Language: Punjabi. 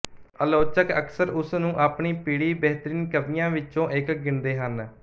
ਆਲੋਚਕ ਅਕਸਰ ਉਸ ਨੂੰ ਆਪਣੀ ਪੀੜ੍ਹੀ ਬੇਹਤਰੀਨ ਕਵੀਆਂ ਵਿੱਚੋਂ ਇੱਕ ਗਿਣਦੇ ਹਨ